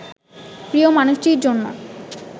প্রিয় মানুষটির জন্য